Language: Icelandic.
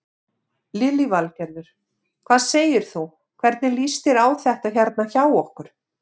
Lillý Valgerður: Hvað segir þú, hvernig líst þér á þetta hérna hjá okkur?